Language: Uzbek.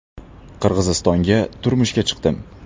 Qirg‘izistonga turmushga chiqdim.